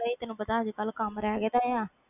ਕਮ ਰਹਿ ਗਿਆ ਦਾ ਆ